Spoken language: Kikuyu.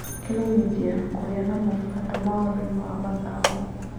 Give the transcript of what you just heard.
Kĩmenyithia - Kũgĩa na mũbuto mũhuro-inĩ wa mathangũ